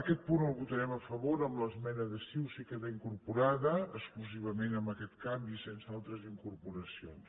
aquest punt el votarem a favor amb l’esmena de convergència i unió si hi queda incorporada exclusivament amb aquest canvi sense altres incorporacions